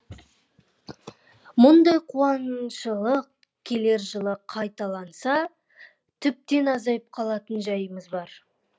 мұндай қуаңшылық келер жылы қайталанса тіптен азайып қалатын жайымыз бар